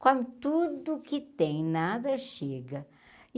Come tudo o que tem, nada chega.